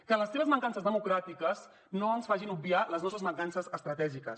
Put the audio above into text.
que les seves mancances democràtiques no ens facin obviar les nostres mancances estratègiques